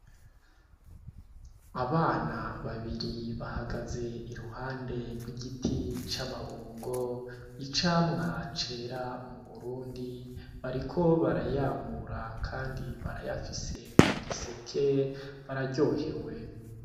Abana babiri bahagaze iruhande rw’igiti c’amabungo, icyamwa cera mu Burundi, bariko barayamura kandi barayafise mu giseke bararyohewe.